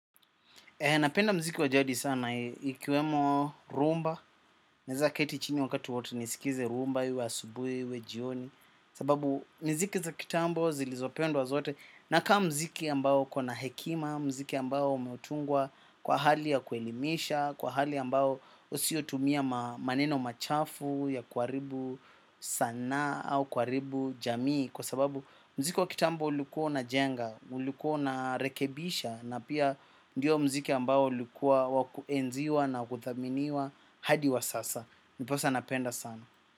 Napenda mziki wajadi sana, ikiwemo rumba, naeza keti chini wakati wowote nisikize rumba, iwe asubui, iwe jioni, sababu miziki za kitambo zilizopendwa zote, na kama mziki ambao uko na hekima, mziki ambao umetungwa kwa hali ya kuelimisha, kwa hali ambao husio tumia maneno machafu ya kuharibu saana au kuaribu jamii, kwa sababu mziki wa kitambo ulikua unajenga, ulikua unarekebisha na pia ndiyo mziki ambao ulikua wakuenziwa na wakuthaminiwa hadi wasasa. Ndiposa napenda sana.